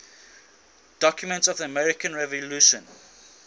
documents of the american revolution